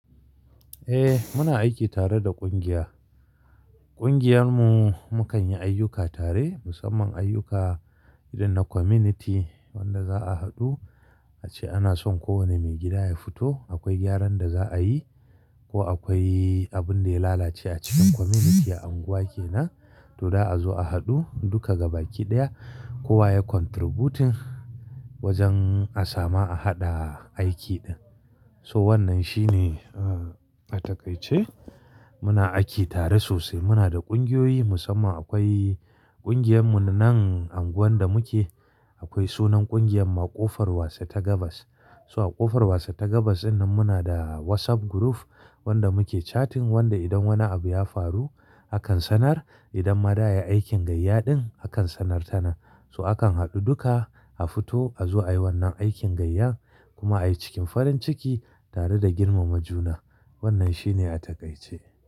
Eh muna aiki tare da kungiya. Kungiyar mu mu kan yi ayyuka tare, musamman ayyuka idan na community wanda za'a haɗu ace ana son kowane maigida ya fito. Akwai gyaran da za'a yi ko akwai abin da ya lalace a cikin community a unguwa kenan to da a zo a haɗu duka gaba ki ɗaya kowa ya contributing wajen a sama a haɗa aiki din. So wannan shine a takaice muna aiki tare sosai. Muna da ƙungiyoyi musamman akwai ƙungiyar mu na nan unguwar da muke akwai sunan ƙungiyar mu ƙofar wasu tagabas. So a ƙofar wase tagabas dinnan muna da WhatsApp group wanda muke chatting wanda idan wani abu ya faru akan sanar idan ma da yayi aikin gayya din akan sanar tanan So akan haɗu duka a fito a zo ayi wannan aikin gayyan kuma ayi cikin farin ciki tare da girmama juna. Wannan shine a takaice.